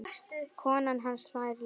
Konan hans hlær líka.